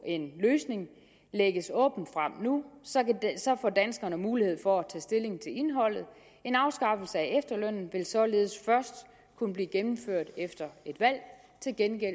en løsning lægges åbent frem nu så får danskerne mulighed for at tage stilling til indholdet en afskaffelse af efterlønnen vil således først kunne blive gennemført efter et valg til gengæld